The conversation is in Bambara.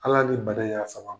Ala ni bana y'a sababu ye.